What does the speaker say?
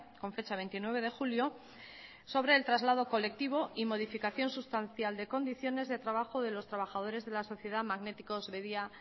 con fecha veintinueve de julio sobre el traslado colectivo y modificación sustancial de condiciones del trabajo de los trabajadores de la sociedad magnéticos bedia